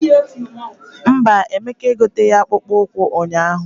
Mba, Emeka egoteghi akpụkpọ ụkwụ ụnyaahụ.